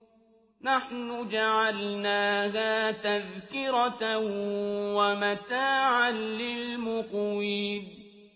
نَحْنُ جَعَلْنَاهَا تَذْكِرَةً وَمَتَاعًا لِّلْمُقْوِينَ